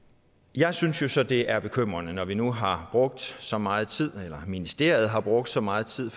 jeg synes jo så det er bekymrende når vi nu har brugt så meget tid eller ministeriet har brugt så meget tid